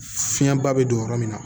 Fiɲɛba bɛ don yɔrɔ min na